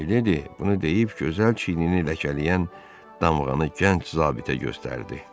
Mileydi bunu deyib gözəl çiynini ləkələyən damğanı gənc zabitə göstərdi.